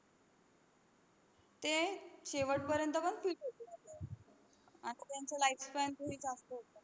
ते शेवटपर्यंत पण राहतात आणि त्यांचं lifespan जास्त होतं.